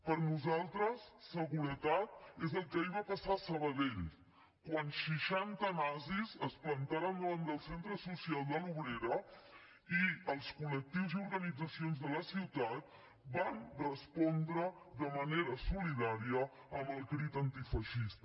per nosaltres seguretat és el que ahir va passar a sabadell quan seixanta nazis es plantaren davant del centre social de l’obrera i els col·lectius i organitzacions de la ciutat van respondre de manera solidària amb el crit antifeixista